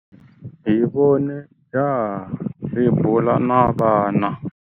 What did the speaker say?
Hi vone jaha ri bula na vana.